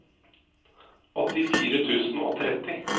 åttifire tusen og tretti